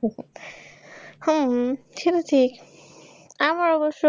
হু হু সেটা ঠিক। আমার অবশ্য